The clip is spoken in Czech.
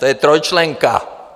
To je trojčlenka.